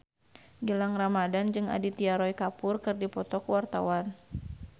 Gilang Ramadan jeung Aditya Roy Kapoor keur dipoto ku wartawan